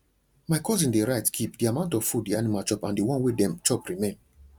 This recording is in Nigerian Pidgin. my cousin dey write kip the amount of food the animal chop and the one wey dem chop remain